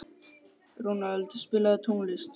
Ronald, spilaðu tónlist.